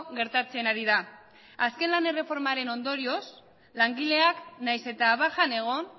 gertatzen ari da azken lan erreformaren ondorioz langileak nahiz eta bajan egon